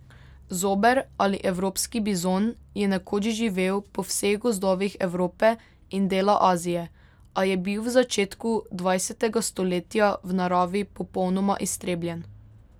Zober ali evropski bizon je nekoč živel po vseh gozdovih Evrope in dela Azije, a je bil v začetku dvajsetega stoletja v naravi popolnoma iztrebljen.